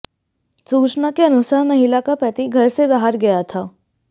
सूचना के अनुसार महिला का पति घर से बाहर गया था